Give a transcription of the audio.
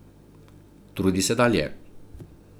Trudi se dalje.